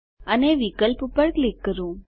અને વિકલ્પ પર ક્લિક કરો